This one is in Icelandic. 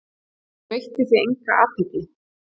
Hún veitti því enga athygli.